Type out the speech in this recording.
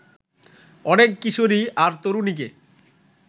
অনেক কিশোরী আর তরুণীকে